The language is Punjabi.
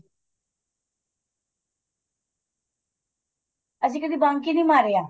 ਅਸੀਂ ਕਦੀ bunk ਈ ਨੀਂ ਮਾਰਿਆ